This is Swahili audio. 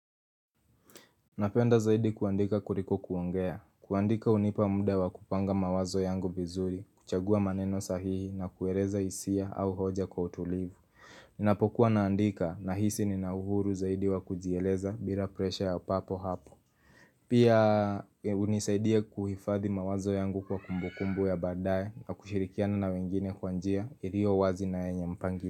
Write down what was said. Napenda zaidi kuandika kuliko kuongea. Kuandika hunipa muda wa kupanga mawazo yangu vizuri, kuchagua maneno sahihi na kueleza hisia au hoja kwa utulivu. Ninapokuwa naandika na hisi nina uhuru zaidi wa kujieleza bila presha ya papo hapo. Pia unisaidia kuhifadhi mawazo yangu kwa kumbukumbu ya badaye kwa kushirikiana na wengine kwa njia ilio wazi na yenye mpangi.